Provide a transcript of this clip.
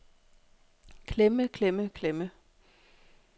klemme klemme klemme